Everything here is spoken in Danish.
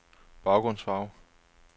baggrundsfarve